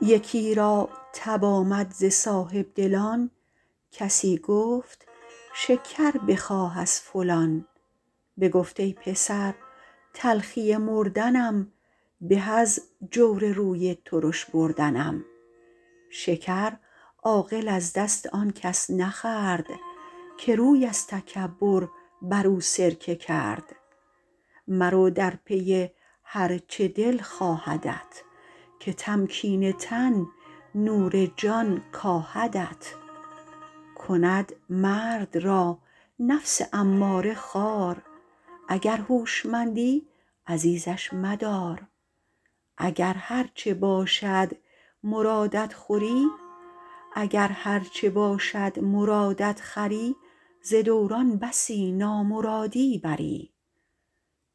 یکی را تب آمد ز صاحبدلان کسی گفت شکر بخواه از فلان بگفت ای پسر تلخی مردنم به از جور روی ترش بردنم شکر عاقل از دست آن کس نخورد که روی از تکبر بر او سرکه کرد مرو از پی هر چه دل خواهدت که تمکین تن نور جان کاهدت کند مرد را نفس اماره خوار اگر هوشمندی عزیزش مدار اگر هرچه باشد مرادت خوری ز دوران بسی نامرادی بری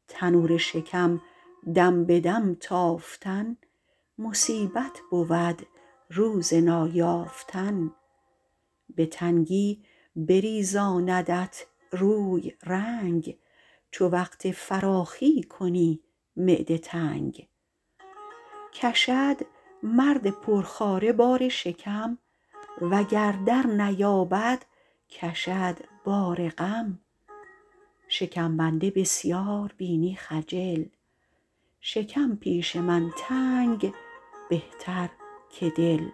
تنور شکم دم به دم تافتن مصیبت بود روز نایافتن به تنگی بریزاندت روی رنگ چو وقت فراخی کنی معده تنگ کشد مرد پرخواره بار شکم وگر در نیابد کشد بار غم شکم بنده بسیار بینی خجل شکم پیش من تنگ بهتر که دل